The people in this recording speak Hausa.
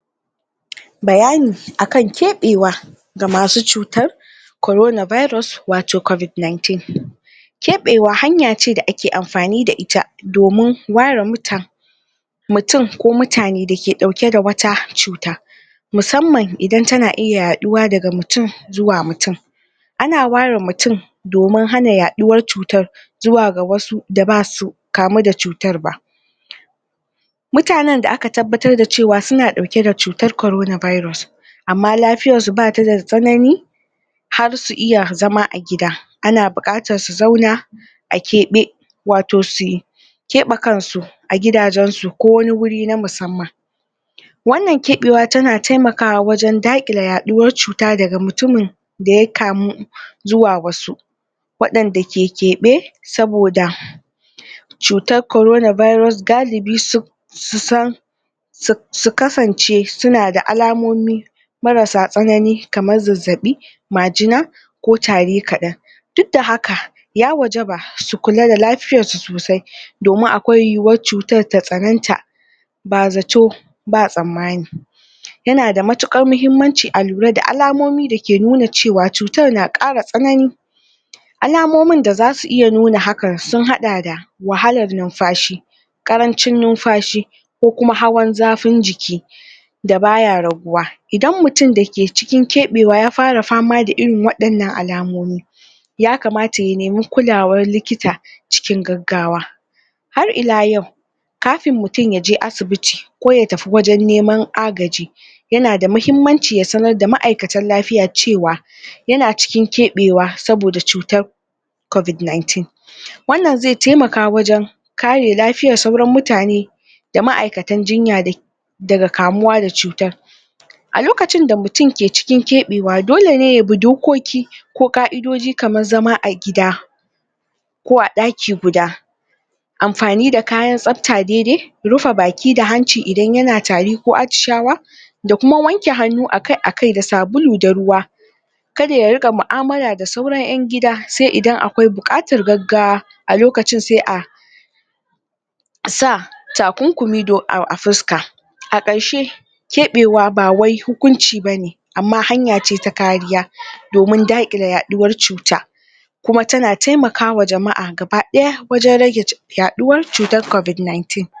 bayani akan keɓewa ga masu cutar corona virus wato covid 19 keɓewa hanya ce da ake amfani da ita domin ware mutane mutum ko mutane da ke dauke da wata cuta musamman idan tana iya yaduwa daga mutum zuwa mutum ana ware mutum domin hana yaduwar cutar zuwa ga wasu da basu kamu da cutar ba mutanen da aka tabbatar suna dauke da korona virus amma lafiyar su bata da tsanani har su iya zama agida ana bukatar su zauna a keɓe wato su keɓe kansu a gidajensu ko wani guri na musamman wannan keɓewa tana wajen dakile yaduwar cuta daga mutumin da yakamu zuwa wasu wadanda ke keɓe saboda cutar korona virus galibi su san su kasance suna da alamomi marasa tsanani kamar zazzabi majina ko tari kadan duk da haka ya wajaba su kula da lafiyar su sosai domin akwai yiwuwar cutar ta ya waita bazato ba tsammani yana matukar muhimmanci alura da alamomi da ke nuna cewa cutar na kara tsanani alamomin da zasu iya nuna hakan sun hada da wahalar numfashi karancin numfashi ko kuma hawan zafin jiki da baya raguwa idan mutum da ke cikin keɓewa ya fara da irin wadan nan alamomin ya kamata ya nemi kulawar likita cikin gaggagwa har ila yau kafin mutum yaje asibiti ko ya tafi wajen neman agaji yana muhimmanci ya sanar da ma'aikatan lafiya cewa yana cikin keɓewa saboda cutar covid 19 wannan zai temaka wajen kare lafiyar sauran mutane da ma'aikatan jinya daga kamuwa da cutar a lokacin da mutum ke cikin keɓewa dole ne yabi do koki ko ka'idoji kamar zama a gida ko a daki guda amfani da kayan tsafta rufe baki da hanci idan yana tari ko atishawa da kuma wanke hannu a kai akai da sabulu da ruwa kada ya rinka mu'amala da sauran yan gida sai in akwai bukatar gaggawa a lokacin sai a takunkumi a fuska a karshe keɓewa ba wai hukunci bane amma hanya ce ta kariya domin dakile yaduwar cuta kuma tana temakawa jama'a gaba daya wajen rage yaduwar cutar covid 19